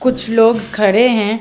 कुछ लोग खड़े हैं ।